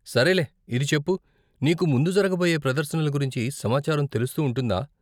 సరేలే, ఇది చెప్పు, నీకు ముందు జరగబోయే ప్రదర్శనల గురించి సమాచారం తెలుస్తూ ఉంటుందా?